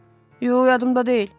Yox, yadımda deyil.